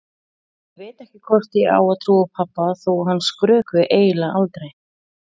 Ég veit ekki hvort ég á að trúa pabba þó að hann skrökvi eiginlega aldrei.